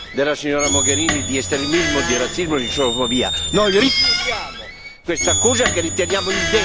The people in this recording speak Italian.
Noi rifiutiamo questa cosa, che riteniamo indegna di una forza politica, indegna del nostro onore.